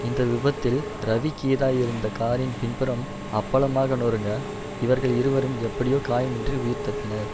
இந்த விபத்தில் ரவி கீதா இருந்த காரின் பின்புறம் அப்பளமாக நொறுங்க இவர்கள் இருவரும் எப்படியோ காயம் இன்றி உயிர் தப்பினர்